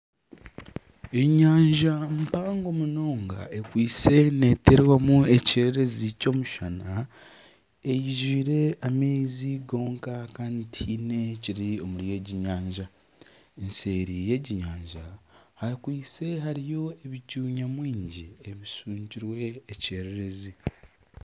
Enyanja mpango munonga ekwitse neeterwamu ekyererezi ky'omushana, eijwire amaizi gonka kandi tihaine ekiri omuri egi nyanya, seeri y'egi nyanja hariyo ebicu nyamwingi ebishwekirwe ekyererezi